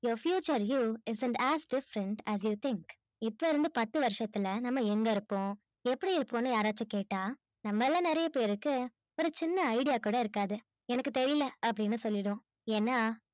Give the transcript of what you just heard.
a future due it is act as sent as a think இப்பயிளைருந்து பத்து வருஷத்துல எங்க இருப்போம் எப்பிடி இருப்போம் னு யாராச்சும் கேட்ட நம்மள நிறைய பேருக்கு ஒரு சின்ன idea கூட இருக்காது எனக்கு தெரியல னு சொல்லிடுவோம் ஏன்னா